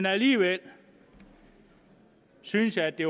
alligevel synes jeg at det